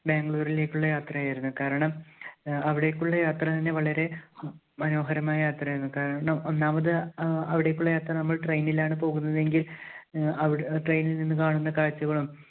ബാംഗ്ലൂരിലേക്കുള്ള യാത്ര ആയിരുന്നു. കാരണം അഹ് അവിടേയ്ക്കുള്ള യാത്ര തന്നെ വളരെ ഹും മനോഹരമായ യാത്രയായിരുന്നു. കാരണം ഒന്നാമത് അ~അവിടേയ്ക്കുള്ള യാത്ര നമ്മൾ train ലാണ് പോകുന്നതെങ്കിൽ അഹ് train ൽ നിന്ന് കാണുന്ന കാഴ്ചകളും